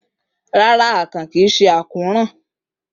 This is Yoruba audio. Rara, akàn kii ṣe ákóràn.